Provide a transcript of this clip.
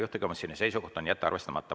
Juhtivkomisjoni seisukoht on jätta arvestamata.